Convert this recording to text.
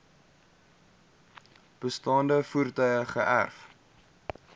bestaande voertuie geërf